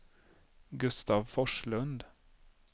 Gustav Forslund